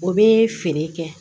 O bɛ feere kɛ